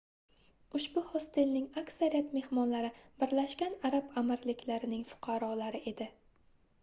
ushbu hostelning aksariyat mehmonlari birlashgan arab amirliklarining fuqarolari edi